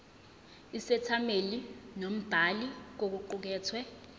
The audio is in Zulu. isethameli nombhali kokuqukethwe